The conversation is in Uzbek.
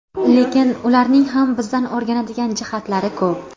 Lekin ularning ham bizdan o‘rganadigan jihatlari ko‘p.